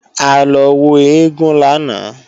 A lọ wo eégún lánàá